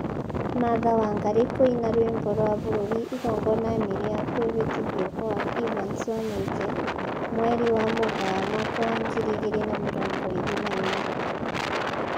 Martha Wangari kũina rwĩmbo rwa bũrũri igongona-inĩ rĩa kwĩhĩtithio gwa Evans Wanyoike, mweri wa Mũgaa mwaka wa ngiri igĩrĩ na mĩrongo ĩrĩ na ĩmwe